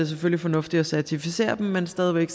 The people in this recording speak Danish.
selvfølgelig fornuftigt at certificere dem men stadig væk